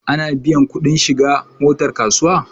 Ana biyan kuɗi shiga na motar kasuwa